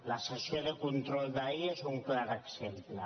la sessió de control d’ahir n’és un clar exemple